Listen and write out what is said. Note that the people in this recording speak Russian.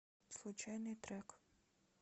случайный трек